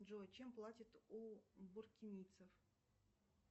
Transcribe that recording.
джой чем платят у буркинийцев